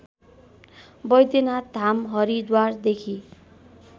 Vaidyanath Dham हरिद्वारदेखि